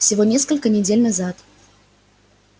всего несколько недель назад